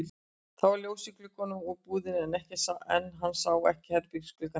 Það var ljós í gluggunum í íbúðinni en hann sá ekki herbergisgluggann hennar.